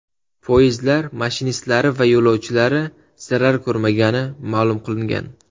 Poyezdlar mashinistlari va yo‘lovchilari zarar ko‘rmagani ma’lum qilingan.